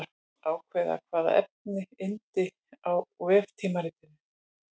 Ákveða hvaða efni yrði á veftímaritinu.